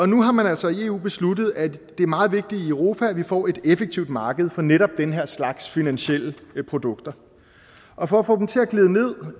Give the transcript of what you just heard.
nu har man altså i eu besluttet at det er meget vigtigt i europa at vi får et effektivt marked for netop den her slags finansielle produkter og for at få dem til at glide ned